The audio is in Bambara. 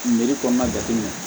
kɔnɔna jatemin